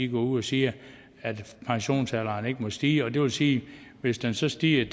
går ud og siger at pensionsalderen ikke må stige og det vil sige at hvis den så stiger